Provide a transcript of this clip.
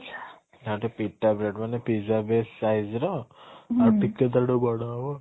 ଆଉ ଟିକେ pita bread ମାନେ pizza base size ର ଆଉ ଟିକେ ତା ଠାରୁ ବଡ ହବ